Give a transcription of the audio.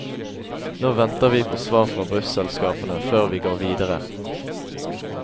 Nå venter vi på svar fra busselskapene før vi går videre.